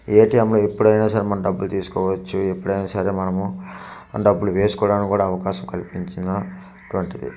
ATM లో ఎప్పుడైనా సరే మనమ డబ్బులు తీసుకోవచ్చు ఎప్పుడైనా సరే మనము డబ్బులు వేసుకోడానికి అవకాశం కల్పించిన వంటిది .]